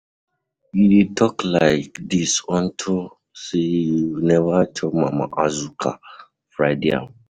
You dey talk like dis unto say you never chop mama Azuka fried yam.